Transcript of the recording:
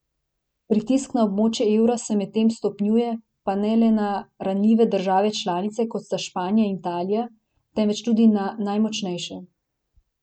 Pritisk na območje evra se medtem stopnjuje, pa ne le na ranljive države članice, kot sta Španija in Italija, temveč tudi na najmočnejše.